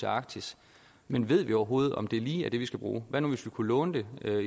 arktis men ved vi overhovedet om det lige er det vi skal bruge hvad nu hvis vi kunne låne det